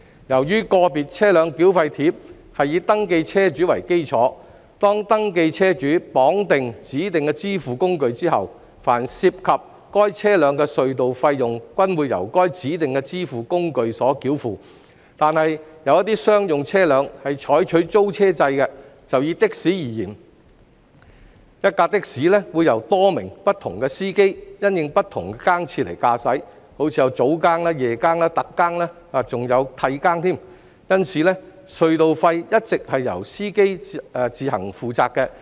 由於"個別車輛繳費貼"是以登記車主為基礎，當登記車主綁定了指定支付工具後，凡涉及該車輛的隧道費用均會由該指定支付工具繳付；但有一些商用車輛是採取租車制，就以的士為例，一輛的士會由多名不同司機因應不同更次來駕駛，例如早更、夜更、特更，還有替更，因此隧道費一直是由司機自行負責。